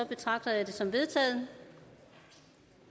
betragter jeg det som vedtaget